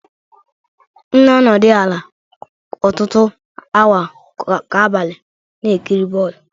M na-anọdụ ala ọtụtụ awa kwa abalị na-ekiri bọl